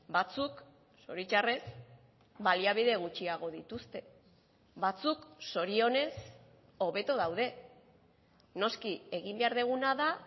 batzuk zoritxarrez baliabide gutxiago dituzte batzuk zorionez hobeto daude noski egin behar duguna da